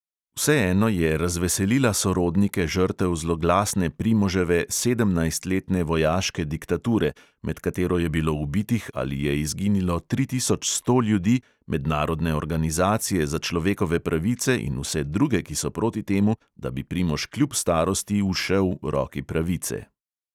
Vseeno je razveselila sorodnike žrtev zloglasne primoževe sedemnajstletne vojaške diktature, med katero je bilo ubitih ali je izginilo tri tisoč sto ljudi, mednarodne organizacije za človekove pravice in vse druge, ki so proti temu, da bi primož kljub starosti ušel roki pravice.